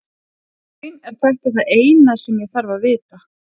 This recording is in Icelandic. Í raun er þetta það eina sem ég þarf að vita.